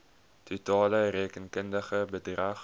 totale rekenkundige bedrag